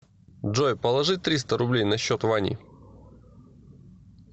джой положи триста рублей на счет вани